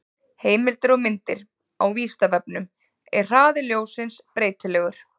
Heimildir og myndir: Á Vísindavefnum: Er hraði ljóssins breytilegur?